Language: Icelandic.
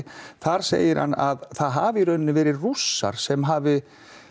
þar segir hann að það hafi í raun verið Rússar sem hafi